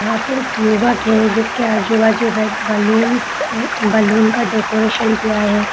यहाँ पे एक यूवक है जिसके अजु बाजु रेड बलून्स बलून का डेकोरेशन किया है लन--